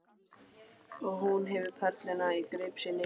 Og hún hefur perluna í greip sinni.